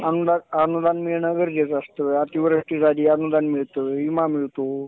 अनुदान मिळणं गरजेचं असतं अतिवृष्टी झाली अनुदान मिळतो विमा मिळतो.